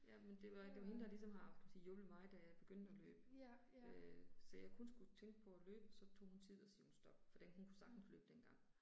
Ja men det var det var hende der ligesom har haft hjulpet mig da jeg begyndte at løbe øh. Så jeg kun skulle tænke på at løbe, så tog hun tid og sagde stop for den hun kunne sagtens løbe dengang